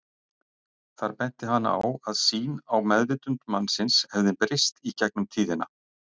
Þar benti hann á að sýn á meðvitund mannsins hefði breyst í gegnum tíðina.